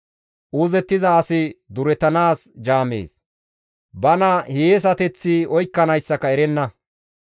Uuzettiza asi durettanaas jaamees; bana hiyeesateththi oykkanayssaka erenna.